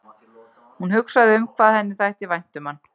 Hún hugsaði um hvað henni þætti vænt um hann.